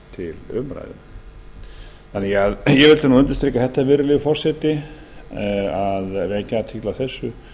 en þau koma til umræðu ég vildi undirstrika þetta virðulegi forseti að vekja athygli á þessu